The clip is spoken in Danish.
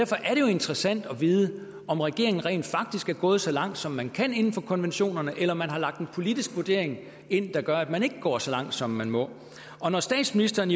interessant at vide om regeringen rent faktisk er gået så langt som man kan inden for konventionerne eller om man har lagt en politisk vurdering ind der gør at man ikke går så langt som man må statsministeren